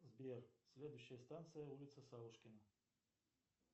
сбер следующая станция улица савушкина